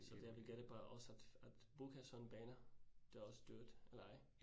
Så det jeg vil gætte på, at også at at booke sådan baner, det også dyrt. Nej